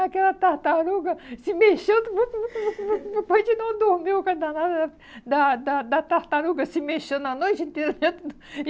Aquela tartaruga se mexendo, depois de não dormir, o que danado né da da da tartaruga se mexendo a noite inteira dentro. E